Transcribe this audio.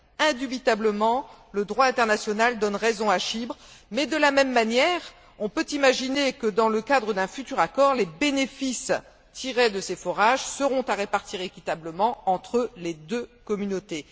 Indubitablement, le droit international donne raison à Chypre mais, de la même manière, on peut imaginer que, dans le cadre d'un futur accord, les bénéfices tirés de ces forages seront à répartir équitablement entre les deux communautés.